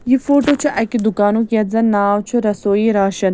.یہِ فوٹوچُھ اَکہِ دُکانُک یتھ زن ناو چُھ رسویی راشن